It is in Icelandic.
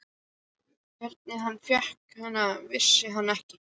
Hvernig hann fékk hana, vissi hann ekki.